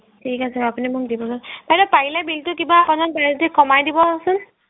ঠিক আছে আপুনি মোক দিবছোন বাইদেউ পাৰিলে bill তো কিবা অকমান পাৰে যদি কমায় দিবছোন